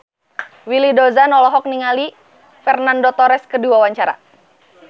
Willy Dozan olohok ningali Fernando Torres keur diwawancara